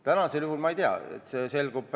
Täna ma ei tea, kuidas läheb.